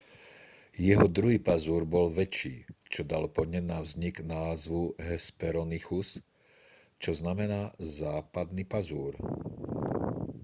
jeho druhý pazúr bol väčší čo dalo podnet na vznik názvu hesperonychus čo znamená západný pazúr